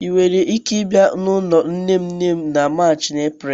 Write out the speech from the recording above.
ị nwere ike ịbịa n'ụlọ nne nne m na March na Eprel?